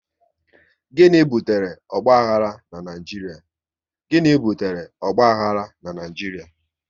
Gịnị butere ogbahara n'Naijiria?